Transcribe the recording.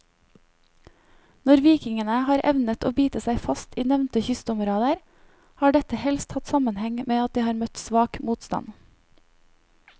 Når vikingene har evnet å bite seg fast i nevnte kystområder, har dette helst hatt sammenheng med at de har møtt svak motstand.